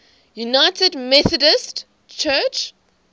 united methodist church